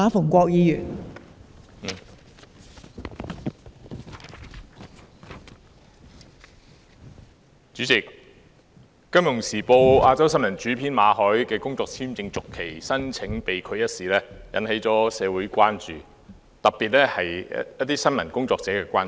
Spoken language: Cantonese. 代理主席，《金融時報》亞洲新聞編輯馬凱的工作簽證續期申請被拒一事引起社會——特別是新聞工作者——的關注。